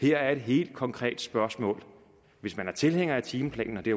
her er et helt konkret spørgsmål hvis man er tilhænger af timeplanen og det